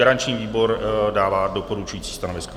Garanční výbor dává doporučující stanovisko.